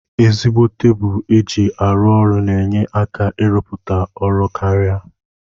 Ezigbo tebulu eji arụ ọrụ na enye aka irụputa ọrụ karia.